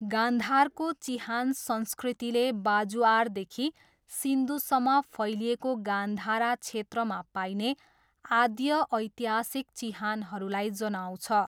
गान्धारको चिहान संस्कृतिले बाजुआरदेखि सिन्धुसम्म फैलिएको गान्धारा क्षेत्रमा पाइने आद्यऐतिहासिक चिहानहरूलाई जनाउँछ।